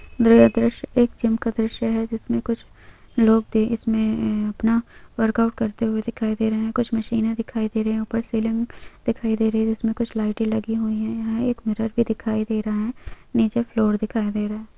दर दृश्य एक जिम का दृश्य है जिसमें कुछ लोग दे इसमें अपना वर्कआउट करते हुए दिखाई दे रहे है कुछ मशीने दिखाई दे रहे है ऊपर सीलिंग दिखाई दे रही है जिसमे कुछ लाइटे लगी हुई है यहाँ एक मिरर भी दिखाई दे रहा है नीचे फ्लोर दिखाई दे रहा है।